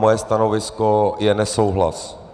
Moje stanovisko je nesouhlas.